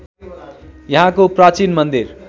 यहाँको प्राचीन मन्दिर